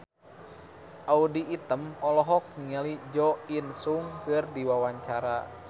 Audy Item olohok ningali Jo In Sung keur diwawancara